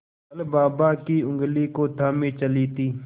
कल बाबा की ऊँगली को थामे चली थी